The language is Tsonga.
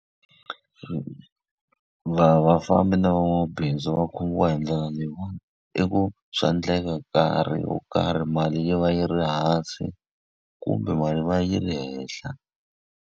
vafambi na van'wamabindzu va khomiwa hi ndlela leyiwani. I ku swa endleka nkarhi wo karhi mali yi va yi ri hansi, kumbe mali va yi ri henhla.